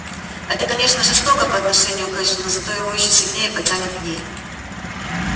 это конечно жестоко по отношению к эшли но зато его ещё сильнее потянет к ней